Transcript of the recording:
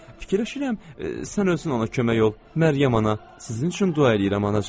Fikirləşirəm, sən özün ona kömək ol, Məryəm ana, sizin üçün dua eləyirəm anacan.